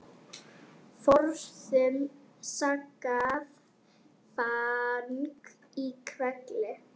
Forðum saxað fang í hvelli.